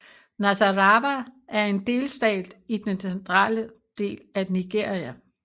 Nasarawa er en delstat i den centrale del af Nigeria